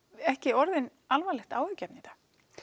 ekki orðin alvarlegt áhyggjuefni í dag